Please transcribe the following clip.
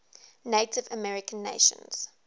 native american nations